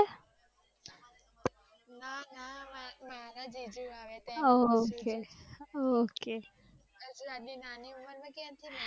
મારા જીજુ આવે આટલી મણિ ઉમર માં ક્યાંથી